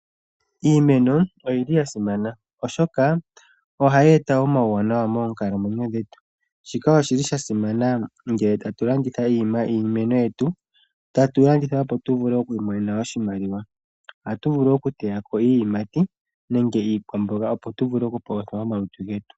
Iimeno oyili ya simana, oshoka ohayi eta omauwanawa moonkalamwenyo dhetu. Shika oshili sha simana ngele tatu landitha iimeno yetu, tatu landitha opo tu vule oku imonena oshimaliwa. Atu vulu oku teya ko iiyimati, nenge iikwamboga opo tu vule oku palutha omalutu getu.